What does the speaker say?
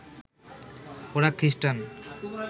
ওরা খ্রিস্টান